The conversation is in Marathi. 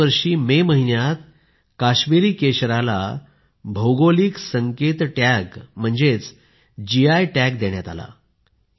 याच वर्षी मे महिन्यात काश्मिरी केशरला भौगोलिक संकेत टॅग म्हणजेच जीआय टॅग देण्यात आले